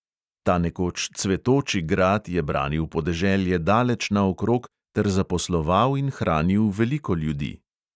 Ta nekoč cvetoči grad je branil podeželje daleč naokrog ter zaposloval in hranil veliko ljudi.